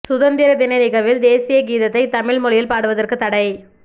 சுதந்திர தின நிகழ்வில் தேசிய கீதத்தை தமிழ் மொழியில் பாடுவதற்குத் தடை